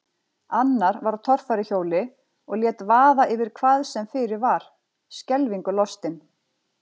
Annar var á torfæruhjóli og lét vaða yfir hvað sem fyrir var, skelfingu lostinn.